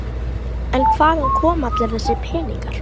En hvaðan koma allir þessir peningar?